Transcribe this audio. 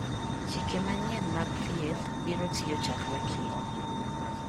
Chike manyien mag thieth biro tiyo chakre kiny.